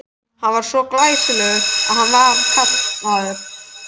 Hann var svo glæsilegur að hann var kallaður